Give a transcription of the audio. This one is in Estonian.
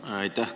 Aitäh!